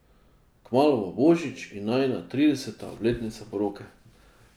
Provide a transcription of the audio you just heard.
Kmalu bo božič in najina trideseta obletnica poroke.